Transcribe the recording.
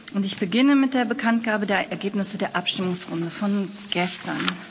Ich beginne mit der Bekanntgabe der Ergebnisse der Abstimmungsrunde von gestern.